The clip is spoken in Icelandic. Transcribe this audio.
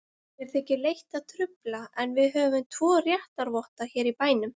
Mér þykir leitt að trufla, en við höfum tvo réttarvotta hér í bænum.